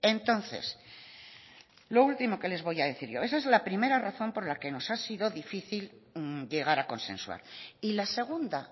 entonces lo último que les voy a decir yo esa es la primera razón por la que nos ha sido difícil llegar a consensuar y la segunda